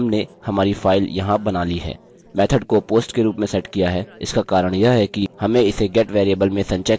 method को post के रूप में सेट किया है इसका कारण यह है कि हमें इसे get वेरिएबल में संचय करने की आश्यकता नहीं है